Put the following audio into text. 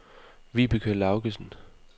Vibeke Laugesen